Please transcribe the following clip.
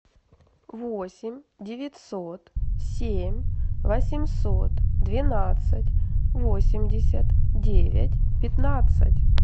восемь девятьсот семь восемьсот двенадцать восемьдесят девять пятнадцать